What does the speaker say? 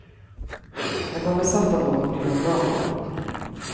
Är man besatt av något blir man bra på det.